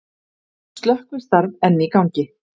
Slökkvistarf enn í gangi